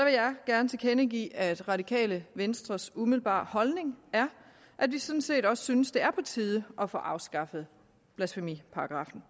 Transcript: jeg gerne tilkendegive at det radikale venstres umiddelbare holdning er at vi sådan set også synes det er på tide at få afskaffet blasfemiparagraffen